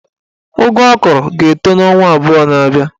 Ụgụ ọ kọrọ ga-etọ n'ọnwa abụọ na-abịa